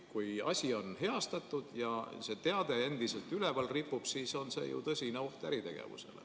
Kui asi on heastatud, aga teade ripub endiselt üleval, siis on see tõsine oht äritegevusele.